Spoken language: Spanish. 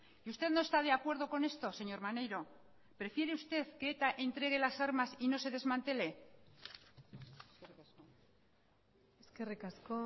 y usted no está de acuerdo con esto señor maneiro prefiere usted que eta entregue las armas y no se desmantele eskerrik asko